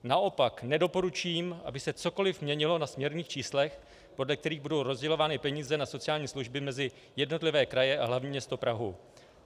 Naopak, nedoporučím, aby se cokoliv měnilo na směrných číslech, podle kterých budou rozdělovány peníze na sociální služby mezi jednotlivé kraje a hlavní město Prahu.